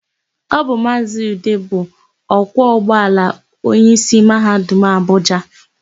Ọ bụ Maazị Ude bụ ọkwọ ụgbọala onyeisi Mahadum Abụja.